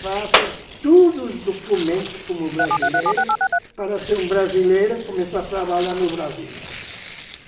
Faça todos os documentos como brasileiro para ser um brasileiro e começar a trabalhar no Brasil.